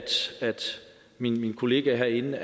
mine kolleger herinde